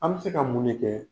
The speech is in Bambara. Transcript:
An bɛ se ka mun ne kɛ?